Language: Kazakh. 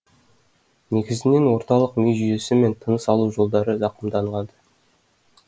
негізінен орталық ми жүйесі мен тыныс алу жолдары зақымданған